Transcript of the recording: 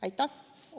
Aitäh!